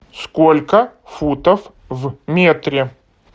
сколько футов в метре